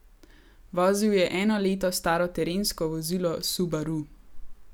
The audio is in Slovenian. Vozil je eno leto staro terensko vozilo subaru.